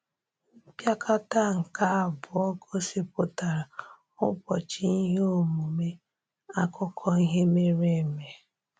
Mpịakọta nke abụọ gosipụtara ụbọchị ihe omume akụkọ ihe mere eme.